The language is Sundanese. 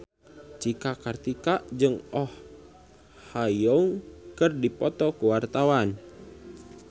Cika Kartika jeung Oh Ha Young keur dipoto ku wartawan